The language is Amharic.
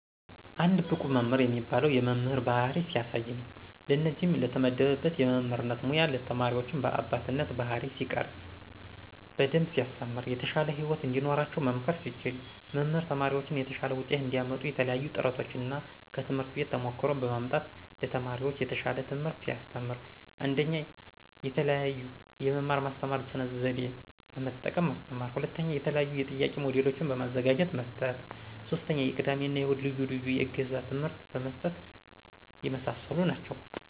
አንድ ብቁ መምህር የሚባለው የመምህር ባህሪ ሲያሳይ ነው። ለእነዚህም ለተመደበበት የመምህርነት ሙያ ተማሪዎችን በአባትነት ባህሪይ ሲቀርፅ። በደንብ ሲያስተምር። የተሻለ ህይወት እንዲኖራቸው መምከር ሲችል። መምህር ተማሪዎችን የተሻለ ውጤት እንዲያመጡ የተለያዪ ጥረቶችን እና ከትምህርት ቤት ተሞክሮ በማምጣት ለተማሪዎች የተሻል ትምህርት ሲያስተምር። 1ኞ፦ የተለዬዬ የመማር ማስተማሩን ስነ ዘዴ በመጠቀም ማስተማር 2ኞ፦ የተለያዬ የጥያቂ ሞጅሎችን በማዘጋጀት መስጠት 3ኞ፦ የቅዳሜ እና እሁድ ልዪ ልዬ የእገዛ ትምህርት መስጠት የመሳሰሉ ናቸው።